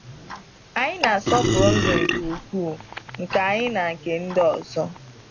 Anyị na asọpụrụ ndụ nke ukwuu nke anyị na nke ndị ọzọ.